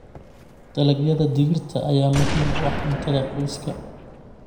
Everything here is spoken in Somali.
Dalagyada digirta ayaa muhiim u ah cuntada qoyska.